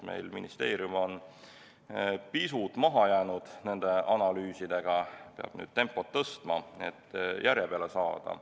Ministeerium on nende analüüsidega pisut maha jäänud, peab tempot tõstma, et järje peale saada.